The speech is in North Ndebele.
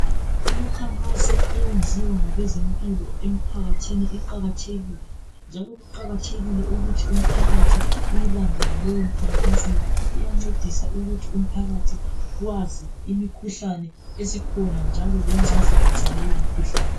Imikhankaso eyenziwa ngabezimpilo emphakathini iqakathekile njalo kuqakathekile ukuthi umphakathi uyilandele leyo mikhankaso ngoba iyancedisa ukuthi umphakathi wazi imikhuhlane esikhona njalo lengcazelo zaleyo mikhuhlane.